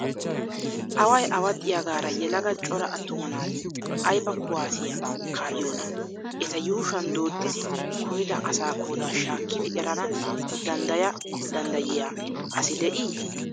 Awayi awaxxiyaagaara yelaga cora attuma naati ayiba kuwaaziyaa kaa'yiyoonaa? Eta yuushuwaan dooddidi kumida asa qoodaa shaakkididi erana dandda danddayiyaa asi de'ii?